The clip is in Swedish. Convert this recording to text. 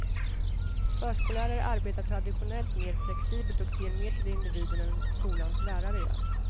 Förskollärare arbetar traditionellt mer flexibelt och ser mer till individen än skolans lärare gör.